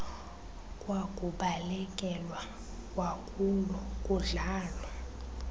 kwakubalekelwa kwakulo kudlalwa